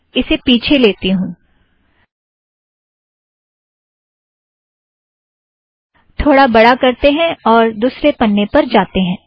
इसे पिछे लेते हैं थोड़ा बड़ा करतें हैं और दुसरे पन्ने पर जातें हैं